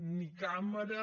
ni càmera